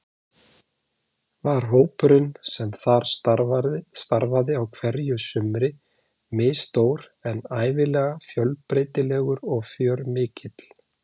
Var hópurinn sem þar starfaði á hverju sumri misstór en ævinlega fjölbreytilegur og fjörmikill.